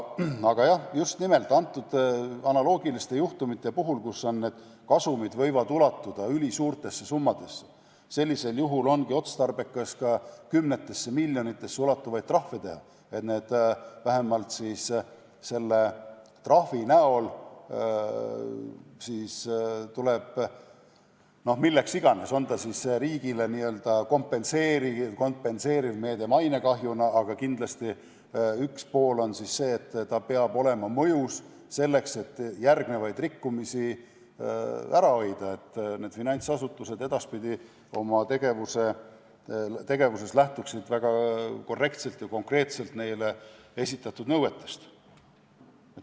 Aga jah, just nimelt analoogiliste juhtumite puhul, kui kasum võib ulatuda ülisuurte summadeni, ongi otstarbekas ka kümnetesse miljonitesse ulatuvaid trahve teha, milleks siis iganes, on see riigi mainekahjut kompenseeriv meede või midagi muud, aga kindlasti on üks pool see, et trahv peab olema mõjus, selleks et järgnevaid rikkumisi ära hoida, et finantsasutused edaspidi oma tegevuses lähtuksid väga korrektselt ja konkreetselt neile esitatud nõuetest.